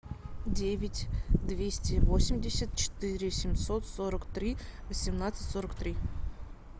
девять двести восемьдесят четыре семьсот сорок три восемнадцать сорок три